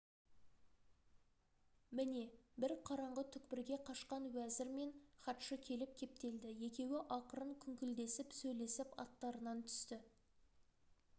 міне бір қараңғы түкпірге қашқан уәзір мен хатшы келіп кептелді екеуі ақырын күңкілдесіп сөйлесіп аттарынан түсті